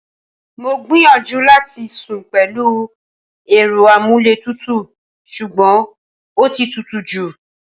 Mo gbìyànjú láti sún pẹ̀lú èrò amuletutu sugbon ọtí tútù jú.